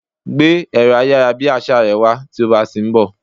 Gbé ẹ̀rọ ayárabíàṣá rẹ wá tí o bá ń bọ̀!